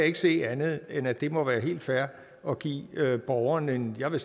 ikke se andet end at det må være helt fair at give borgerne en jeg vil